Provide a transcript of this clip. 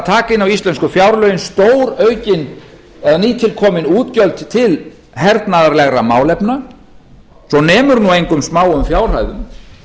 að fara inn á íslensku fjárlögin stóraukin eða nýtilkomin útgjöld til hernaðarlegra málefna svo nemur nú engum smáum fjárhæðum